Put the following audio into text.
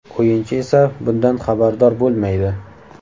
O‘yinchi esa bundan xabardor bo‘lmaydi.